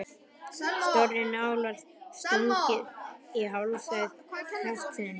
Stórri nál var stungið í hálsæð hestsins.